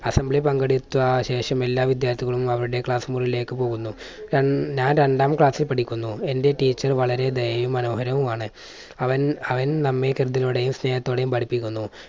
assambly യിൽ പങ്കെടുത്ത ശേഷം എല്ലാ വിദ്യാർത്ഥികളും അവരുടെ class മുറിയിലേക്ക് പോകുന്നു. ഞാൻ രണ്ടാം class ൽ പഠിക്കുന്നു. എൻറെ teacher വളരെ ദയയും മനോഹരവുമാണ്. അവൻ അവൻ നമ്മെ ഹൃദ്യതയോടെയും സ്നേഹത്തോടെയും പഠിപ്പിക്കുന്നു.